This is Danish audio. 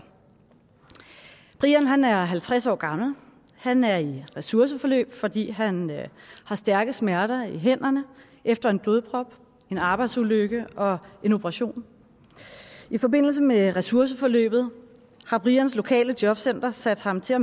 brian er halvtreds år gammel han er i ressourceforløb fordi han har stærke smerter i hænderne efter en blodprop en arbejdsulykke og en operation i forbindelse med ressourceforløbet har brians lokale jobcenter sat ham til at